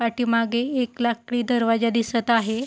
पाठीमागे एक लाकडी दरवाजा दिसत आहे.